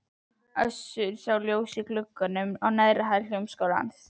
Össur sá ljós í glugganum á neðri hæð Hljómskálans.